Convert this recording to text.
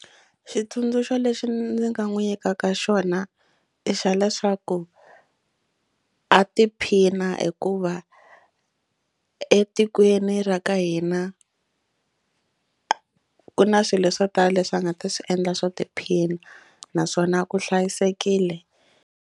Xitsundzuxo lexi ndzi nga n'wi nyikaka xona i xa leswaku a tiphina hikuva etikweni ra ka hina a ku na swilo swo tala leswi a nga ta swi endla swo tiphina naswona u hlayisekile.